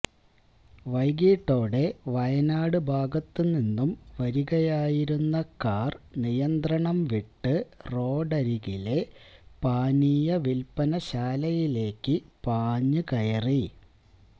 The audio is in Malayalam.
വൈകിട്ടോടെ വയനാട് ഭാഗത്തു നിന്നും വരികയായിരുന്ന കാര് നിയന്ത്രണം വിട്ട് റോഡരികിലെ പാനീയ വില്പ്പന ശാലയിലേക്കു പാഞ്ഞുകയറി